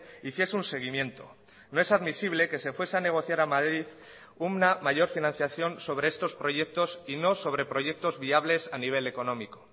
hiciese un seguimiento no es admisible que se fuese a negociar a madrid una mayor financiación sobre estos proyectos y no sobre proyectos viables a nivel económico